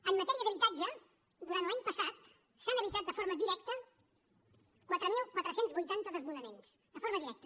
en matèria d’habitatge durant l’any passat s’han evitat de forma directa quatre mil quatre cents i vuitanta desnonaments de forma directa